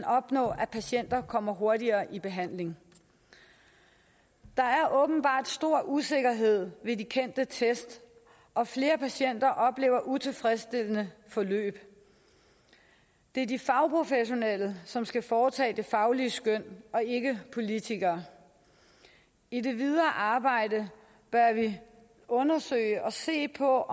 opnå at patienter kommer hurtigere i behandling der er åbenbart stor usikkerhed ved de kendte test og flere patienter oplever utilfredsstillende forløb det er de fagprofessionelle som skal foretage det faglige skøn og ikke politikere i det videre arbejde bør vi undersøge og se på